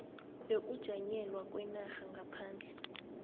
yokujanyelwa kwenarha ngaphandle